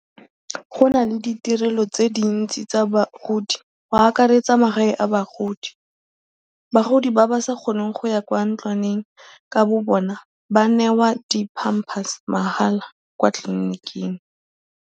Go na le ditirelo tse dintsi tsa bagodi go akaretsa magae a bagodi. Bagodi ba ba sa kgoneng go ya kwa ntlwaneng ka bobona ba newa di-pampers mahala kwa tliliniking.